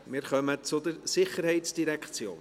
Wir kommen zur SID.